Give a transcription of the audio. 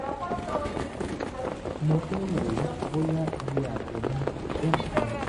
mo fẹ́ wò ó bóyá iye àtọ̀ mi kò tó nǹkan